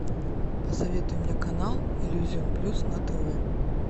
посоветуй мне канал иллюзион плюс на тв